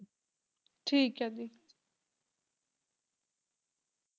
ਠੀਕ ਹੈ ਜੀ